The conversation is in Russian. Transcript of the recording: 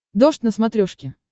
дождь на смотрешке